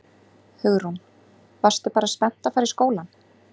Hugrún: Varstu bara spennt að fara í skólann?